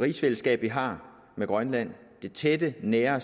rigsfællesskab vi har med grønland at det tætte nære